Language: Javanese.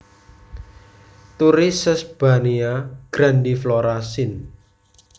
Turi Sesbania grandiflora syn